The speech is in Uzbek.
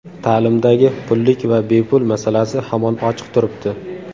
Ta’limdagi pullik va bepul masalasi hamon ochiq turibdi.